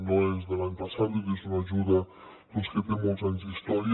no és de l’any passat és una ajuda que té molts anys d’història